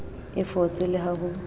a fotse le ha ho